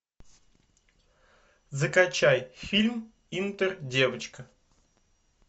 закачай фильм интердевочка